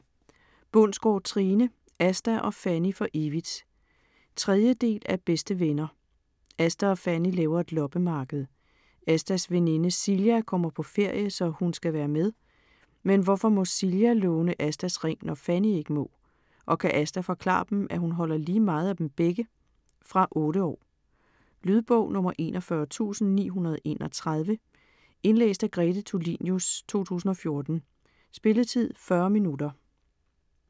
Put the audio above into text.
Bundsgaard, Trine: Asta og Fanny for evigt 3. del af Bedste venner. Asta og Fanny laver et loppemarked. Astas veninde Silja kommer på ferie, så hun skal være med. Men hvorfor må Silja låne Astas ring, når Fanny ikke må, og kan Asta forklare dem, at hun holder lige meget af dem begge? Fra 8 år. Lydbog 41931 Indlæst af Grete Tulinius, 2014. Spilletid: 0 timer, 40 minutter.